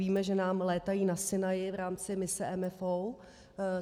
Víme, že nám létají na Sinaji v rámci mise MFO.